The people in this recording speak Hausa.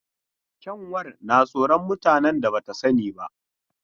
Kyanwar na tsoron mutanen da ba ta sani ba.